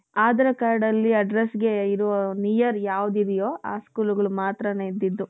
ಆಧಾರ್ cardಅಲ್ಲಿ address near ಯಾವುದ್ ಇದೆಯೋ ಆ school ಗೆ ಮಾತ್ರಾನೇ ಇದ್ದದ್ದು.